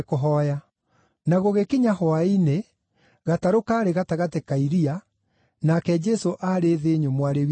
Na gũgĩkinya hwaĩ-inĩ, gatarũ kaarĩ gatagatĩ ka iria, nake Jesũ aarĩ thĩ nyũmũ arĩ wiki.